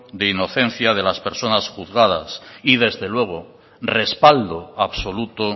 de inocencia de las personas juzgadas y desde luego respaldo absoluto